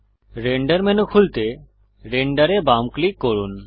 render menu খুলতে render এ বাম ক্লিক করুন